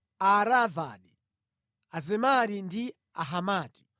Aaravadi, Azemari ndi Ahamati.